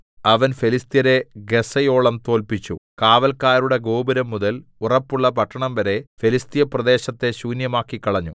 അവൻ ഫെലിസ്ത്യരെ ഗസ്സയോളം തോല്പിച്ചു കാവല്ക്കാരുടെ ഗോപുരംമുതൽ ഉറപ്പുള്ള പട്ടണംവരെ ഫെലിസ്ത്യപ്രദേശത്തെ ശൂന്യമാക്കിക്കളഞ്ഞു